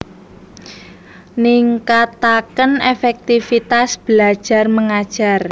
Ningkataken efektifitas belajar mengajar